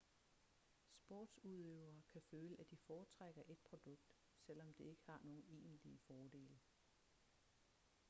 sportsudøvere kan føle at de foretrækker et produkt selvom det ikke har nogen egentlige fordele